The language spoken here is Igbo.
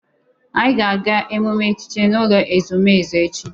Anyị ga-aga emume echichi n'ụlọ ezumezu echi.